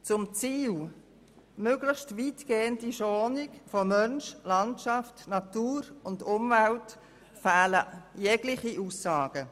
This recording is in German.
Zum Ziel möglichst weitgehender Schonung von Mensch, Landschaft, Natur und Umwelt fehlen jegliche Aussagen.